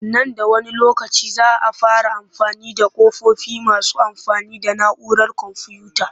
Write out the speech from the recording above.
Nan da wani lokaci za a fara amfani da ƙofofi masu amfani da na'urar komfuyuta